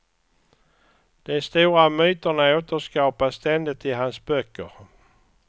De stora myterna återskapas ständigt i hans böcker.